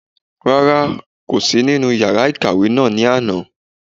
Rárá, kò sí nínú yàrá ìkàwé náà ní àná